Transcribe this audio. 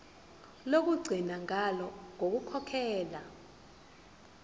lokugcina ngalo ukukhokhela